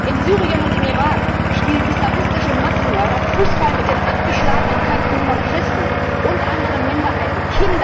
In Syrien und im Irak spielen islamistische Massenmörder Fußball mit den abgeschlagenen Köpfen von Christen und anderen Minderheiten.